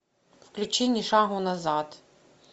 включи ни шагу назад